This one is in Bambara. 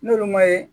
N'olu ma ye